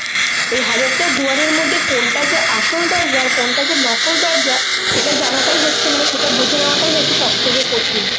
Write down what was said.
ওই হাজার টা দুয়ারের মধ্যে কোনটা যে আসল দরজা? আর কোনটা যে নকল দরজা? সেটা জানাটাই হচ্ছে মানে সেটা বুঝে নেওয়াটাই হচ্ছে সবথেকে কঠিন।